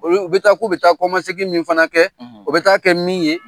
Olu u bɛ taa k'u bɛ taa kɔmasegin min fana kɛ o bɛ taa kɛ min ye